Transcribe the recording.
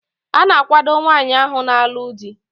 A na-akwado nwaanyi ahu na-alu di